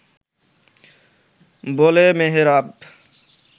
বলে মেহরাব